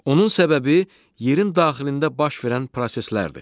Onun səbəbi yerin daxilində baş verən proseslərdir.